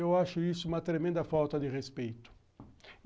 Eu acho isso uma tremenda falta de respeito.